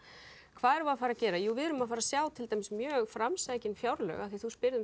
hvað erum við að fara að gera jú við erum að fara að sjá mjög framsækin fjárlög af því að spyrð um